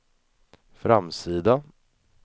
framsida